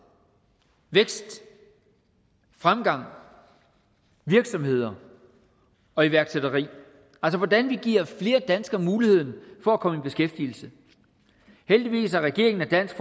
vækst fremgang virksomheder og iværksætteri altså hvordan vi giver flere danskere mulighed for at komme i beskæftigelse heldigvis er regeringen og dansk